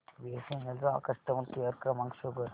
BSNL चा customer care क्रमांक show कर